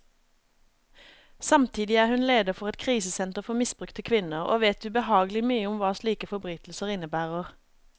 Samtidig er hun leder for et krisesenter for misbrukte kvinner, og vet ubehagelig mye om hva slike forbrytelser innebærer.